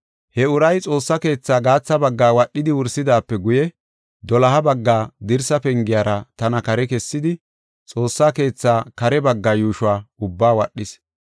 He uray Xoossaa keetha gaatha baggaa wadhidi wursidaape guye doloha bagga dirsa pengiyara tana kare kessidi, Xoossa keethaa kare baggaa yuushuwa ubba wadhis.